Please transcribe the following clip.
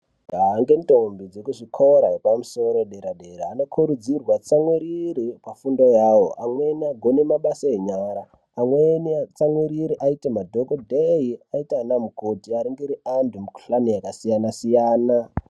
Majaha nendombi veku zvikora zvepamsoro padera dera vanokuridzirwe kutsamwire pafundo yavo amweni agone mabasa enyara amweni atsamwirire aite madhokodheya aite ana mukoti aningire antu mukuhlani yakasiyana siyana.